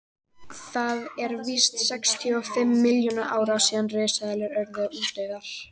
það eru víst um sextíu og fimm milljónir ára síðan risaeðlurnar urðu útdauðar